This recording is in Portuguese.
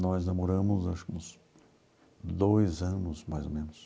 Nós namoramos, acho que uns dois anos, mais ou menos.